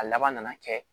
A laban nana kɛ